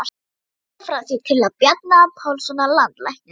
Íslandi, frá því í tíð Bjarna Pálssonar landlæknis.